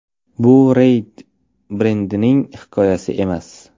Bu Rey Bredberining hikoyasi emas.